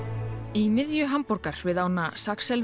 í miðju Hamborgar við ána